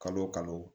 Kalo o kalo